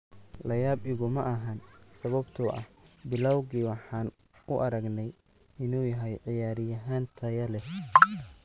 La yaab iguma ahan sababtoo ah bilowgii waxaan u aragnay inuu yahay ciyaaryahan tayo leh.